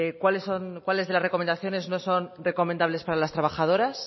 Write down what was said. cuáles de las recomendaciones no son recomendables para las trabajadoras